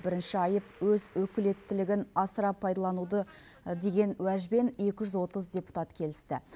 бірінші айып өз өкілеттілігін асыра пайдалануды деген уәжбен екі жүз отыз депутат келісті